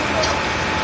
Quraşdırılıb.